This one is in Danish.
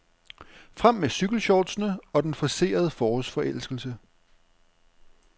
Frem med cykelshortsene og den forcerede forårsforelskelse.